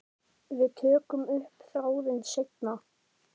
Við tökum upp þráðinn seinna.